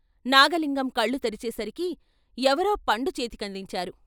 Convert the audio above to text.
నాగలింగం కళ్ళు తెరిచే సరికి ఎవరో పండు చేతికందించారు.